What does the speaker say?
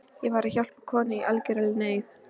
Ég var að hjálpa konu í algjörri neyð.